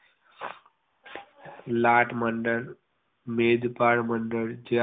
લાઠ મંડળ મેજપાળ મંડળ